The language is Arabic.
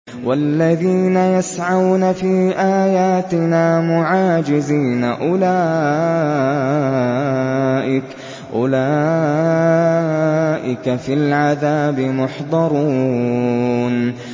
وَالَّذِينَ يَسْعَوْنَ فِي آيَاتِنَا مُعَاجِزِينَ أُولَٰئِكَ فِي الْعَذَابِ مُحْضَرُونَ